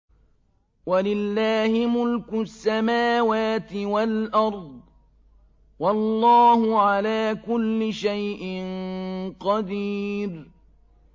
وَلِلَّهِ مُلْكُ السَّمَاوَاتِ وَالْأَرْضِ ۗ وَاللَّهُ عَلَىٰ كُلِّ شَيْءٍ قَدِيرٌ